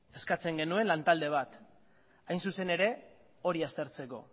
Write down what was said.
eskatzen genuen lan talde bat hain zuzen ere hori aztertzeko